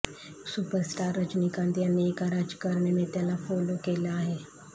superstar Rajinikanth यांनी एका राजकारणी नेत्याला फोलो केले आहे